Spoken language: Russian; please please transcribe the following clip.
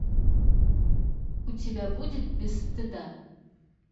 у тебя будет без стыда